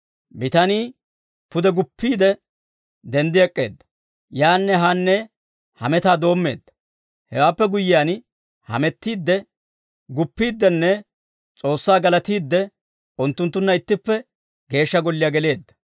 Bitanii pude guppiide, denddi ek'k'eedda; yaanne haanne hametaa doommeedda. Hewaappe guyyiyaan hamettiidde, guppiiddinne S'oossaa galatiidde, unttunttunna ittippe Geeshsha Golliyaa geleedda.